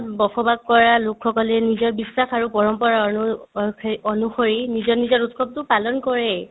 বসবাস কৰা লোকসকলে নিজৰ বিশ্বাস আৰু পৰম্পৰা অনুসৰি নিজৰ নিজৰ উৎসৱতো পালন কৰেই